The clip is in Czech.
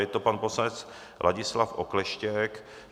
Je to pan poslanec Ladislav Okleštěk.